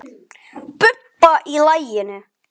Bubba í laginu.